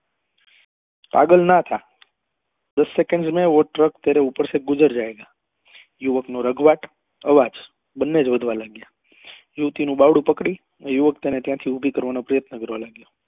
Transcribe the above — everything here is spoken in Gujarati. પાગલ નાં થા દસ second મેં વો ટ્રક તેરે ઉપર સે ગુજર જાયેગા યુવક નો રાગ્વાટ અવાજ બંને જ વધવા લાગ્યા યુવતી નું બાવડું પકડી ને યુવક તેને ત્યાંથી ઉભી કરવા નો પ્રયત્ન કરવા લાગ્યો